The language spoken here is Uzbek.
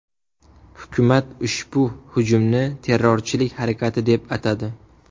Hukumat ushbu hujumni terrorchilik harakati deb atadi.